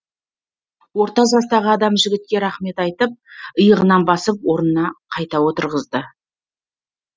орта жастағы адам жігітке рахмет айтып иығынан басып орнына қайта отырғызды